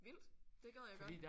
Vildt. Det gad jeg godt